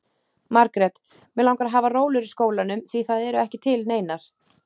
Margrét: Mig langar að hafa rólur í skólanum, því það eru ekki til neinar.